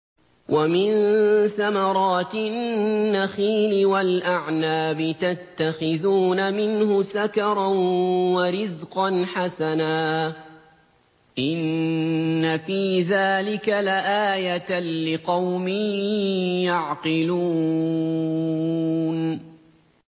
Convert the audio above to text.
وَمِن ثَمَرَاتِ النَّخِيلِ وَالْأَعْنَابِ تَتَّخِذُونَ مِنْهُ سَكَرًا وَرِزْقًا حَسَنًا ۗ إِنَّ فِي ذَٰلِكَ لَآيَةً لِّقَوْمٍ يَعْقِلُونَ